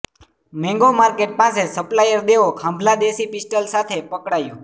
mango market પાસે supplier Devo Khambhala દેશી pistol સાથે પકડાયો